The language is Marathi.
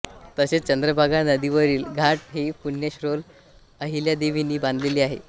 तसेच चंद्रभागा नदीवरील घाट ही पुण्यश्लोक अहिल्यादेवीनी बांधलेला आहे